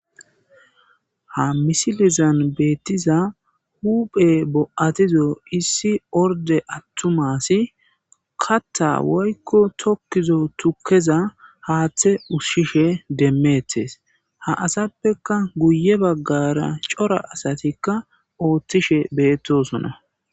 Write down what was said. Ha misilizan beettiza huphe bo'atizo issi orde attumasi katta woykko tokkizo tukkeza haaththe usshishe demmeetes ha asappeka guye baggara cora asatikka ooththishe beettosona.